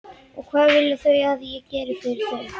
Og hvað vilja þau að ég geri fyrir þau?